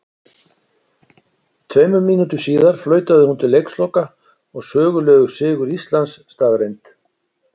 Tveimur mínútum síðar flautaði hún til leiksloka og sögulegur sigur Íslands staðreynd.